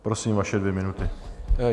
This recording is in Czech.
Prosím, vaše dvě minuty.